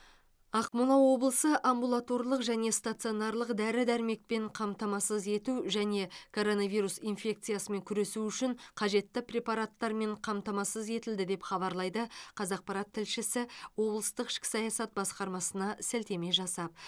ақмола облысы амбулаторлық және станционарлық дәрі дәрмекпен қамтамасыз ету және коронавирус инфекциясымен күресу үшін қажетті препараттармен қамтамасыз етілді деп хабарлайды қазақпарат тілшісі облыстық ішкі саясат басқармасына сілтеме жасап